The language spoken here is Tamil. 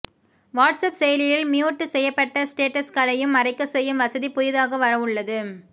வாட்ஸ்அப் செயலியில் மியூட் செய்யப்பட்ட ஸ்டேட்டஸ்களை மறைக்கச் செய்யும் வசதி புதிதாக வரவுள்ளது